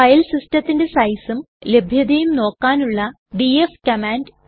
file സിസ്റ്റത്തിന്റെ സൈസും ലഭ്യതയും നോക്കാനുള്ള dfകമാൻഡ്